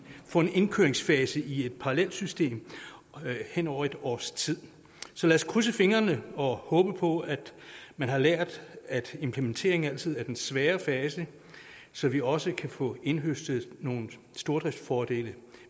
få en indkøringsfase i et parallelsystem hen over et års tid så lad os krydse fingrene og håbe på at man har lært at implementering altid er den svære fase så vi også kan få indhøstet nogle stordriftsfordele